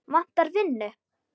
Vantar vinnu